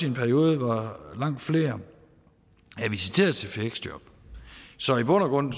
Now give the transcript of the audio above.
en periode hvor langt flere er visiteret til fleksjob så i bund